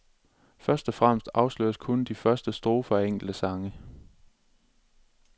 Først og fremmest afsløres kun de første strofer af enkelte sange.